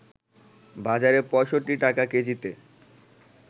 বাজারে ৬৫ টাকা কেজিতে